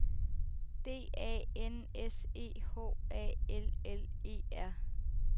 D A N S E H A L L E R